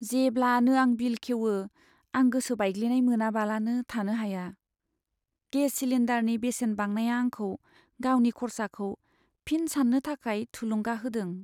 जेब्लानो आं बिल खेवो, आं गोसो बायग्लिनाय मोनालाबानो थानो हाया। गेस सिलिन्डारनि बेसेन बांनाया आंखौ गावनि खरसाखौ फिन सान्नो थाखाय थुलुंगा होदों।